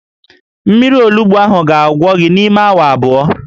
Mmiri olugbu ahụ ga-agwọ gị n'ime awa abụọ